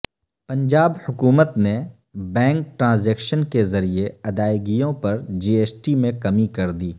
پنجاب حکومت نے bank transaction کے ذریعے ادائیگیوں پر جی ایس ٹی میں کمی کردی